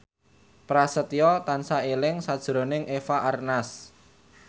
Prasetyo tansah eling sakjroning Eva Arnaz